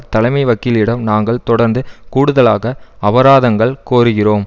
தலைமை வக்கீலிடம் நாங்கள் தொடர்ந்து கூடுதலாக அபராதங்கள் கோருகிறோம்